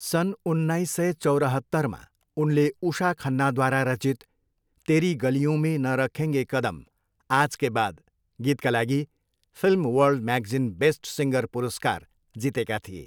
सन् उन्नाइस सय चौरहत्तमा, उनले उषा खन्नाद्वारा रचित 'तेरी गलियों में न रखेंगे कदम आज के बाद' गीतका लागि film world magazine best singer पुरस्कार जितेका थिए।